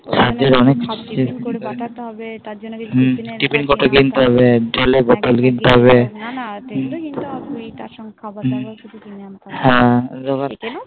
আজকাল অনেক হ্যাঁ বাবুকে School পাঠাতে হবে Tiffin কোট কিনতে হবে জলের Bottle কিনতে হবে নানা Tiffin তো কিনতে হবে তারসঙ্গে খাবার দাবার হু রো কিছু কিনে আনতে হবে হ্যাঁ